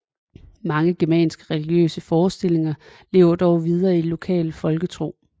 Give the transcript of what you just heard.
Mange germanske religiøse forestillinger levede dog videre i lokal folketro